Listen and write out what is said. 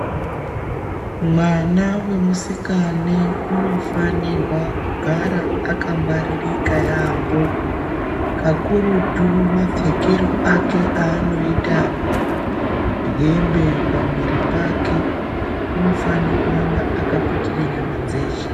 Mwana vemusikane anofanirwa kugara akangwaririka yaambo. Kakurutu mapfekero ake anoita hembe pamwiri pake unofane kuramba akaputire nyama dzeshe.